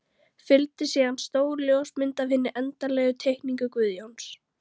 Fylgdi síðan stór ljósmynd af hinni endanlegu teikningu Guðjóns.